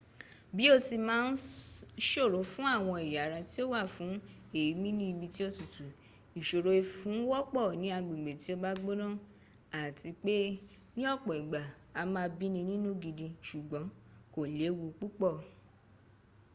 bí ó ti máa ń ṣòro fún àwọn ẹ̀yà ara tí ó wà fún èémi ní ibi tí ó tutù ìṣòrò ìfun wọ́pọ̀ ní agbègbè tí ó bá gbónà àti pé ní ọ̀pọ̀ ìgbà a máa bíni nínú gidi ṣùgbọ́n kò léwu púpọ̀